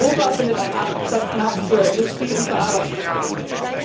Europa findet einen Absatzmarkt für Industrieerzeugnisse und verarbeitete Produkte.